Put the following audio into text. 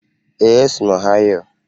Ee, esi m Ọhaịo